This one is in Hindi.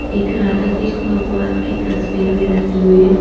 एक राधा कृष्ण भगवान की तस्वीर भी रखी हुई है।